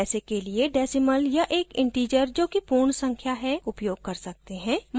हम पैसे के लिए decimal या एक integer जो कि पूर्ण संख्या whole number है उपयोग कर सकते हैं